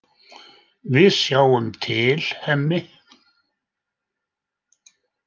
Við sjáum til, Hemmi.